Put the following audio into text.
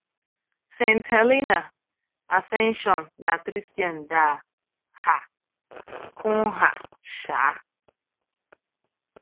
Saint Helena, Ascension, na Tristan da um Cunha um